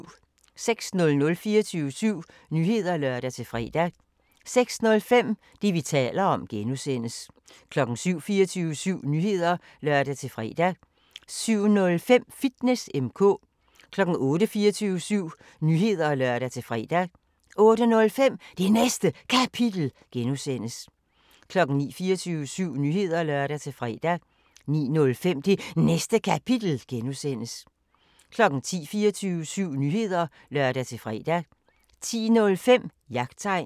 06:00: 24syv Nyheder (lør-fre) 06:05: Det, vi taler om (G) 07:00: 24syv Nyheder (lør-fre) 07:05: Fitness M/K 08:00: 24syv Nyheder (lør-fre) 08:05: Det Næste Kapitel (G) 09:00: 24syv Nyheder (lør-fre) 09:05: Det Næste Kapitel (G) 10:00: 24syv Nyheder (lør-fre) 10:05: Jagttegn